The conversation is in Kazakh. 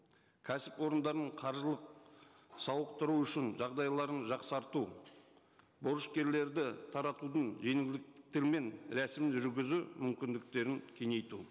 кәсіпорындарының қаржылық сауықтыру үшін жағдайларын жақсарту борышкерлерді таратудың жеңілдіктермен рәсім жүргізу мүмкіндіктерін кеңейту